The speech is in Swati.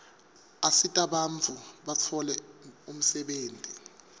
asita bantfu batfole umsebenti